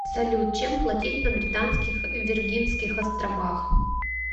салют чем платить на британских виргинских островах